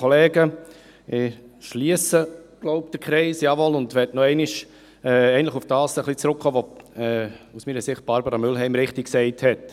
Ich schliesse wohl den Kreis – jawohl – und möchte noch einmal ein wenig auf das zurückkommen, was Barbara Mühlheim aus meiner Sicht richtig gesagt hat.